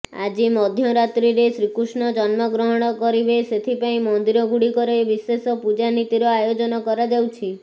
ଆଜି ମଧ୍ୟରାତ୍ରିରେ ଶ୍ରୀକୃଷ୍ଣ ଜନ୍ମଗ୍ରହଣ କରିବେ ସେଥିପାଇଁ ମନ୍ଦିର ଗୁଡିକରେ ବିଶେଷ ପୂଜାନୀତିର ଆୟୋଜନ କରାଯାଉଛି